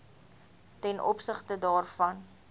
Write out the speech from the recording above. ten opsigte daarvan